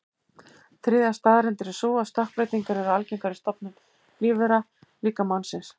Þriðja staðreyndin er sú að stökkbreytingar eru algengar í stofnum lífvera, líka mannsins.